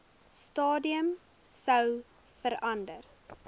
stadium sou verander